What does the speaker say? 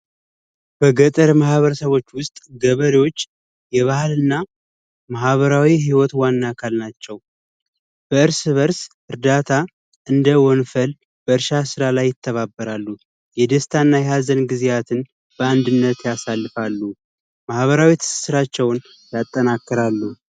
በገጠር ማህበረሰቦች ውስጥ ገበሬዎች የባህል እና ማህበራዊ ህይወት ዋና አካል ናቸው። እርስ በርስ እርዳታ እንደ ወንፈል በርሻ ስራ ላይ ይተባበራሉ። የደስታ እና የሀዘን ጊዚያትን በአንድነት ያሳልፋሉ። ማህበራዊ ትስስራቸውን ያጠናክራሉ።